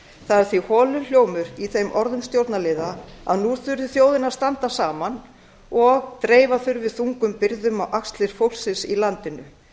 það er því holur hljómur í þeim orðum stjórnarliða að nú þurfi þjóðin að standa saman og dreifa þurfi þungum byrðum á axlir fólksins í landinu